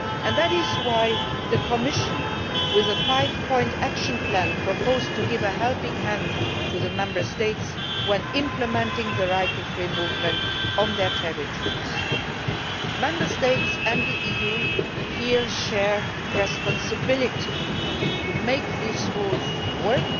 That is why the Commission, with a five point action plan, proposed to give a helping hand to the Member States when implementing the right to free movement on their territories. The Member States and the EU here share the responsibility to make these rules work